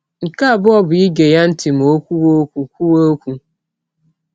Nke abụọ bụ ige ya ntị ma ọ kwụwe ọkwụ, kwụwe ọkwụ.